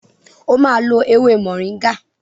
O ma lo ewé moringa!